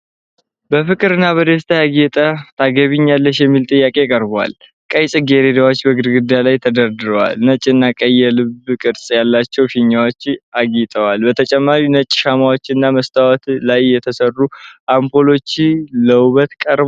በፍቅር እና በደስታ ያጌጠ ታገቢኛለሽ የሚል ጥያቄ ቀርቧል። ቀይ ጽጌረዳዎች በግድግዳው ላይ ተደርድረው፣ ነጭና ቀይ የልብ ቅርጽ ያላቸው ፊኛዎች አጌጠዋል። በተጨማሪም ነጭ ሻማዎችና መስታወት ላይ የተሰሩ አምፖሎች ለውበት ቀርበዋል።